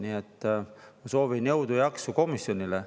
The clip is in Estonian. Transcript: Nii et ma soovin jõudu ja jaksu komisjonile.